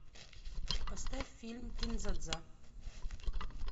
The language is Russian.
поставь фильм кин дза дза